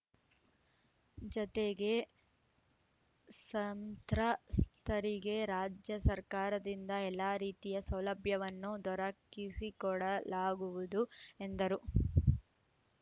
ಜತೆಗೆ ಸಂತ್ರಸ್ತರಿಗೆ ರಾಜ್ಯ ಸರ್ಕಾರದಿಂದ ಎಲ್ಲ ರೀತಿಯ ಸೌಲಭ್ಯವನ್ನು ದೊರಕಿಸಿಕೊಡಲಾಗುವುದು ಎಂದರು